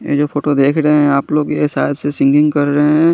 ये जो फोटो देख रहे है आप लोग ये सायद से सिंगिंग कर रहे है।